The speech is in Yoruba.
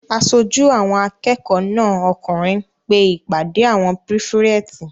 Aṣojú àwọn akẹ́kọ̀ọ́ náà okùnrin pe ìpàdé àwọn pírífẹ̀tì